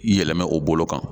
Yɛlɛmɛ o bolo kan.